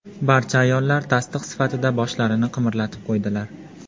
Barcha ayollar tasdiq sifatida boshlarini qimirlatib qo‘ydilar.